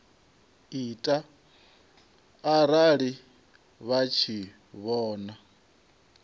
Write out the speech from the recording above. ita arali vha tshi vhona